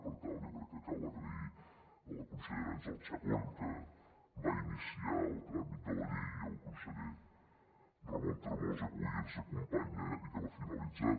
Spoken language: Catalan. per tant jo crec que cal donar les gràcies a la consellera àngels chacón que va iniciar el tràmit de la llei i al conseller ramon tremosa que avui ens acompanya i que l’ha finalitzat